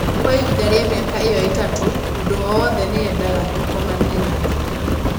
"Kwa ihinda rĩa mĩaka ĩyo ĩtatũ, mũndũ o wothe nĩ eendaga tũkomanie nake".